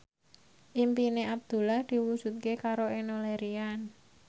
impine Abdullah diwujudke karo Enno Lerian